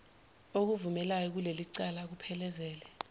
okuvumelayo kulelicala akuphelezele